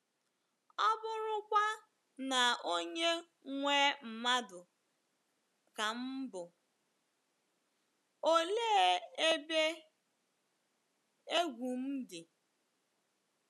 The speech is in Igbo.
ọ bụrụkwa na onye nwe mmadụ ka m bụ, olee ebe egwu m dị?